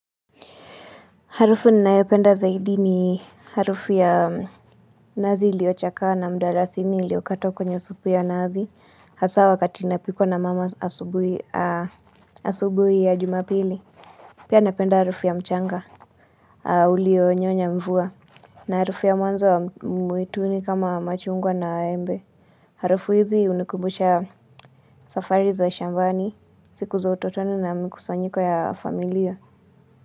Harufu ninayopenda zaidi ni harufu ya nazi iliochakaa na mdalasini iliokatwa kwenye supu ya nazi hasa wakati inapikwa na mama asubuhi ya jumapili. Pia napenda harufu ya mchanga ulio nyonya mvua na harufu ya mwanzo wa mwituni kama machungwa na embe. Harufu hizi unikumbusha safari za shambani siku za utotoni na mikusanyiko ya familia.